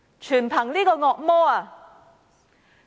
全因這個惡魔。